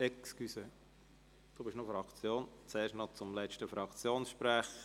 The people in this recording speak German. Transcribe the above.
– Nein, Entschuldigung, wir kommen zuerst zum letzten Fraktionssprecher.